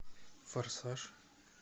форсаж